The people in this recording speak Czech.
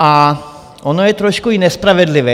A ono je trošku i nespravedlivé.